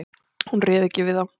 Hún réð ekki við þá.